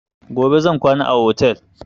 Gobe zan kwana a otel